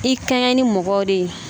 I kɛɲɛ ni mɔgɔw de ye